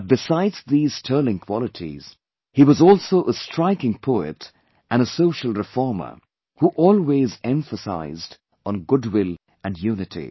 But besides these sterling qualities, he was also a striking poet and a social reformer who always emphasized on goodwill and unity